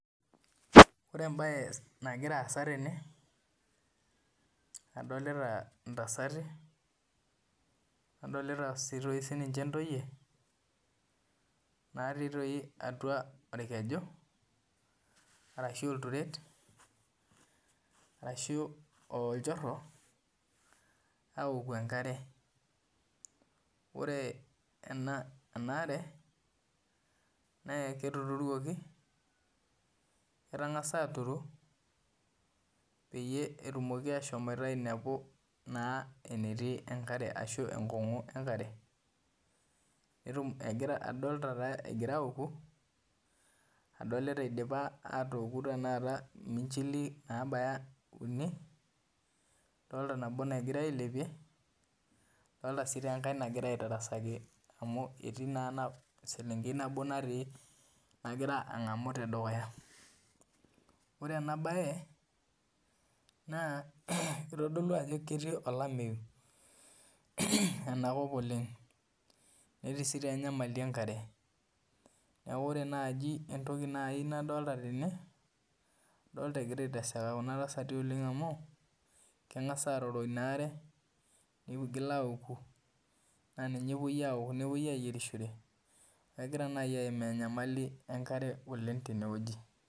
Ore embaye nagira aasa tene wueji adolita intasati nadoli intoyie naai orkeju aapku enkare ore enaa are naa ketuturuoki pee etum ashom ainepu enetii enkare ashuu enkong'u enkare adolita egira auku adolita eidipa aatooki iminchili adolita nabo nagirai ailepie adolita enkae nagira aitarasaki amu etii naa eselenkei nagira an'gamu te dukuya ore enkae adolita ajo ketii enkop olameyu neeku ore enkae toki nadolita tene adolita egira aiteseka kuna tasati amu adolita agira auko enkare nepuo aayierisho neeku adolita enyamali oleng tene wueji